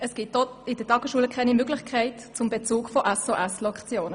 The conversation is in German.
Es gibt in der Tagesschule auch keine Möglichkeit zum Bezug von SOS-Lektionen.